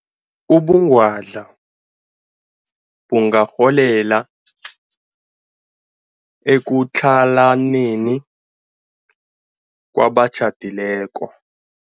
Ubungwadla bungarholela ekutlhalaneni kwabatjhadileko.